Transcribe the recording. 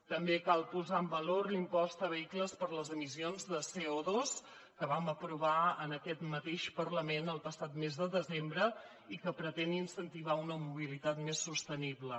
també cal posar en valor l’impost de vehicles per les emissions de covam aprovar en aquest mateix parlament el passat mes de desembre i que pretén incentivar una mobilitat més sostenible